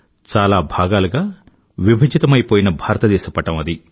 చాలా భాగాలుగా విభజితమైపోయిన భారతదేశ పటం అది